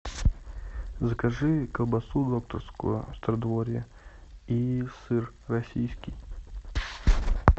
закажи колбасу докторскую стародворье и сыр российский